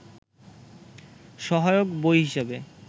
সহায়ক বই হিসেবে